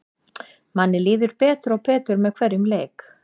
Manni líður betur og betur með hverjum leik.